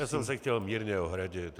Já jsem se chtěl mírně ohradit.